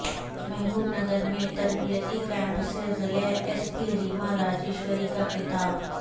محبوب نگر میں تربیتی کیمپ سے ضلع ایس پی ریما راجیشوری کا خطاب